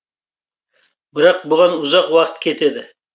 бірақ бұған ұзақ уақыт кетеді